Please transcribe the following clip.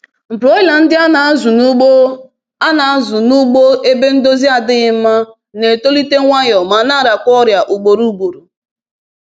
Broiler ndị a na-azụ n’ugbo a na-azụ n’ugbo ebe ndọzi adịghị mma na-etolite nwayọ ma na-arakwa ọrịa ugboro ugboro